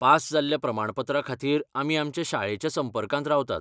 Pass जाल्ल्या प्रमाणपत्रा खातीर आमी आमच्या शाळेच्या संपर्कांत रावतात.